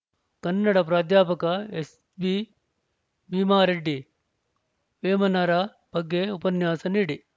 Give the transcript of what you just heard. ಕನ್ನಡ ಪ್ರಾಧ್ಯಾಪಕ ಎಸ್‌ಬಿ ಭೀಮಾರೆಡ್ಡಿ ವೇಮನರ ಬಗ್ಗೆ ಉಪನ್ಯಾಸ ನೀಡಿ